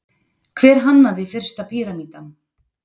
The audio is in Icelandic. Hver hannaði fyrsta píramídann?